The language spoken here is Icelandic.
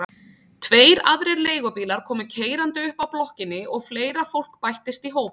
Tveir aðrir leigubílar komu keyrandi upp að blokkinni og fleira fólk bættist í hópinn.